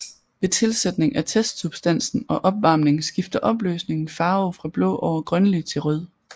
Ved tilsætning af testsubstansen og opvarmning skifter opløsningen farve fra blå over grønlig til rød